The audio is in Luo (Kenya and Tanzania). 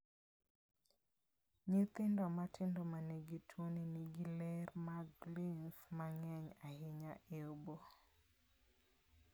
Nyithindo matindo ma nigi tuono nigi ler mag lymph ma ng�eny ahinya e obo.